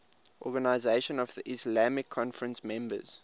organisation of the islamic conference members